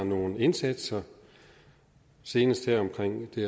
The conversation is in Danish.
nogle indsatser senest her omkring det